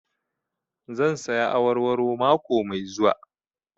Zan saya awarwaro mako mai zuwa